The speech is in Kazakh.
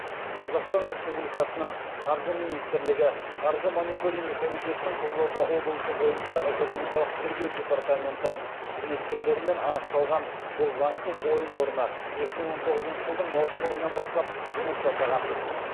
қазақстан республикасының қаржы министрлігі қаржы мониторингі комитетінің қызылорда облысы бойынша экономикалық тергеу департаменті қызметкерлерімен анықталған бұл заңсыз ойын орны екі мың он тоғызыншы жылдың маусым айынан бастап жұмыс жасаған